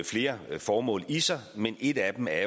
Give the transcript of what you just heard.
flere formål i sig et af dem er